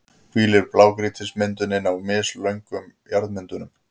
hvílir blágrýtismyndunin á misgömlum jarðmyndunum.